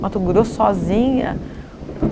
Mato Grosso sozinha?